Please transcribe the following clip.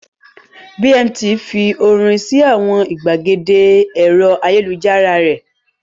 Bmt fi orin sí àwọn ìgbàgede ẹ̀rọ ayélujára rẹ̀.